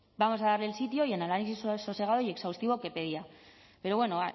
vamos a darle el sitio y el análisis sosegado y exhaustivo que pedía pero bueno